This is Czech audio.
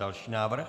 Další návrh.